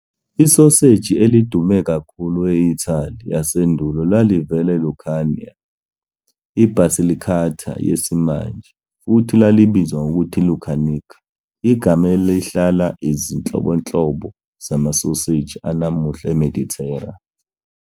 "Isoseji" elidume kakhulu e-Italy yasendulo lalivela eLucania, i- Basilicata yesimanje, futhi lalibizwa ngokuthi lucanica, igama elihlala ezinhlobonhlobo zamasoseji anamuhla eMedithera.